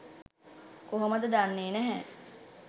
කොහොමද දන්නේ නෑ